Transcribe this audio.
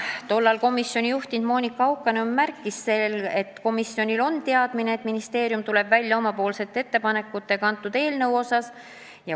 Tollal komisjoni juhtinud Monika Haukanõmm märkis, et komisjonil on teadmine, et ministeerium tuleb välja oma ettepanekutega eelnõu kohta.